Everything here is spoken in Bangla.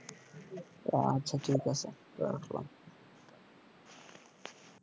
ও আচ্ছা ঠিক আছে রাখলাম